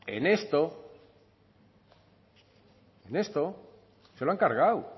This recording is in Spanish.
en esto en esto se lo han cargado